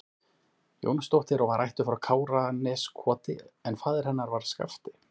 Jónsdóttir og var ættuð frá Káraneskoti en faðir hennar var Skafti